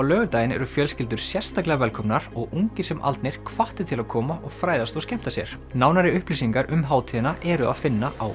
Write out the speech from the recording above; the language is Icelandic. laugardaginn eru fjölskyldur sérstaklega velkomnar og ungir sem aldnir hvattir til að koma og fræðast og skemmta sér nánari upplýsingar um hátíðina er að finna á